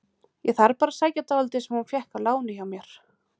Ég þarf bara að sækja dálítið sem hún fékk að láni hjá mér.